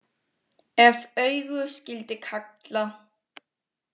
Ef augu skyldi kalla.